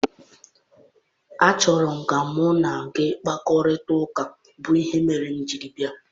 Achọrọ m ka mụ na gị kparịta ụka bụ ihe mere m jiri bịa.